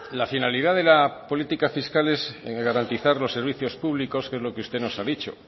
la finalidad de la política fiscal es garantizar los servicios públicos que es lo que usted nos ha dicho